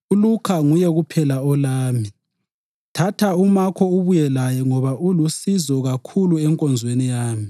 ULukha nguye kuphela olami. Thatha uMakho ubuye laye ngoba ulusizo kakhulu enkonzweni yami.